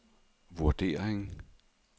vurdering